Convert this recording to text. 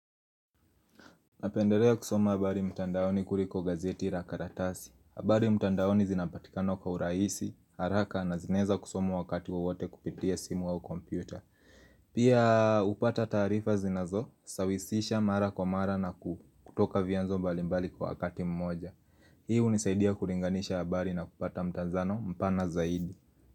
Napenderea kusoma habari mtandaoni kuliko gazeti rakaratasi. Abari mtandaoni zinapatikano kwa uraisi, haraka, na zinaweza kusomwa.wakati wowote kupitia simu au kompyuta. Pia upata tarifa zinazo, sawisisha mara kwa mara na kutoka vianzo mbali mbali kwa wakati mmoja. Hii hunisaidia kuringanisha habari na kupata mtanzano mpana zaidi.